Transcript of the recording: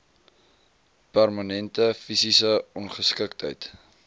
permanente fisiese ongeskiktheid